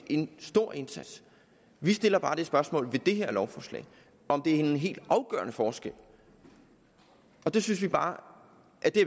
en stor indsats vi stiller bare det spørgsmål i det her lovforslag om det er en helt afgørende forskel og det synes vi bare